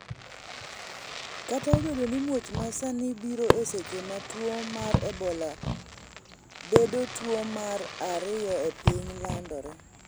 kata obedo ni muoch ma sani biro eseche ma tuo mar ebola bedo tuo mar ariyo e piny landore